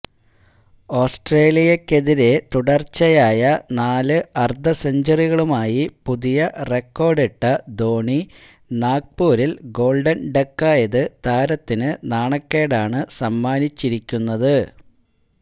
ഓസ്ട്രേലിയക്കെതിരെ തുടര്ച്ചയായ നാല് അര്ധസെഞ്ചുറികളുമായി പുതിയ റെക്കോര്ഡിട്ട ധോണി നാഗ്പൂരില് ഗോള്ഡന് ഡക്കായത് താരത്തിന് നാണക്കേടാണ് സമ്മാനിച്ചിരിക്കുന്നത്